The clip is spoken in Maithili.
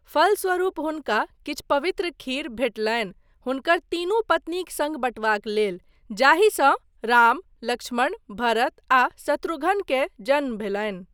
फलस्वरूप हुनका किछु पवित्र खीर भेटलनि हुनकर तीनू पत्नीक सङ्ग बँटबाक लेल, जाहिसँ राम, लक्ष्मण, भरत, आ शत्रुघ्न के जन्म भेलनि।